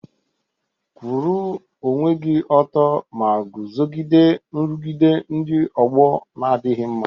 Kwụrụ onwe gị ọtọ ma guzogide nrụgide ndị ọgbọ na-adịghị mma.